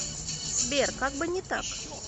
сбер как бы не так